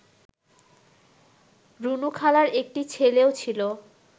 রুনুখালার একটি ছেলেও ছিল